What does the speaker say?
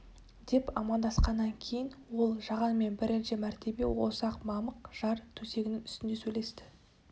деп амандасқаннан кейін ол жағанмен бірінші мәртебе осы ақ мамық жар төсегінің үстінде сөйлесті